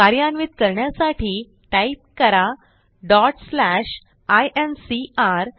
कार्यान्वित करण्यासाठी टाईप करा आयएनसीआर